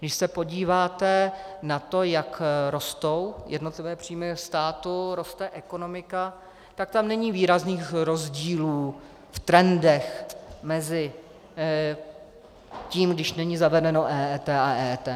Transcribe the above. Když se podíváte na to, jak rostou jednotlivé příjmy státu, roste ekonomika, tak tam není výrazných rozdílů v trendech mezi tím, když není zavedeno EET, a EET.